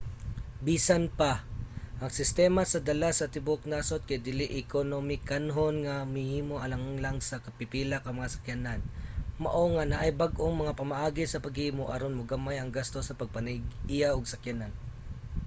bisan pa ang sistema sa dala sa tibuok nasod kay dili ekonomikanhon nga mahimo alang lang sa pipila ka mga sakyanan mao nga naay bag-ong mga pamaagi sa paghimo aron mogamay ang gasto sa pagpanag-iya og sakyanan